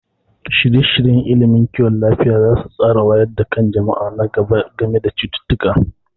Shirye-shiryen ilimin kiwon lafiya za su tsara wayar da kan jama'a na gaba game da cututtuka.